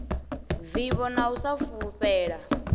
vivho na u sa fulufhela